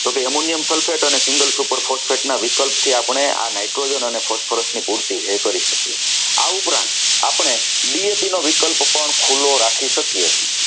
તો કે Ammonium Sulphate અને single super sulphate phosphate ના વિકલ્પ થી આપણને આ nitrogen અને phosphorus ની પૂર્તિ જે છે એ કરી શકીએ છીએ આ ઉપરાંત આપણે DAP નો વિકલ્પ પણ ખુલ્લો રાખી શકીએ.